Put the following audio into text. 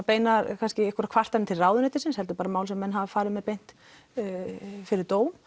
beinar kvartanir til ráðuneytisins heldur bara mál sem menn hafa farið með beint fyrir dóm